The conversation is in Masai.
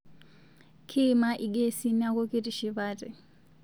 Kiima lgesi naaku kitishipate